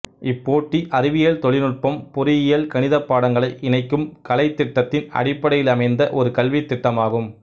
இப்போட்டி அறிவியல் தொழில் நுட்பம் பொறியியல் கணிதப் பாடங்களை இணைக்கும் கலைத்திட்டத்தின் அடிப்படையிலமைந்த ஒரு கல்வித்திட்டமாகும்